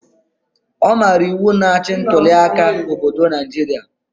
Ọ maara iwu na-achị ntuliaka obodo Naijiria